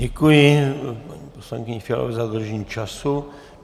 Děkuji paní poslankyni Fialové za dodržení času.